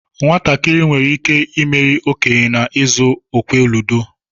Nwatakịrị nwere ike imeri okenye na-izu okwe ludo.